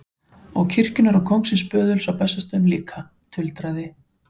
Og kirkjunnar og kóngsins böðuls á Bessastöðum líka, tuldraði